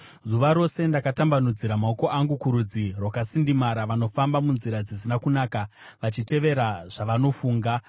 Zuva rose ndakatambanudzira maoko angu kurudzi rwakasindimara, vanofamba munzira dzisina kunaka vachitevera zvavanofunga,